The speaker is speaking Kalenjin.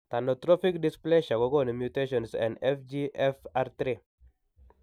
Thanatophoric dysplasia ko gonu mutations en FGFR3